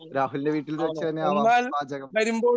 രാഹുലിനെ വീട്ടിൽ വെച്ച് തന്നെയാകാം പാചകം.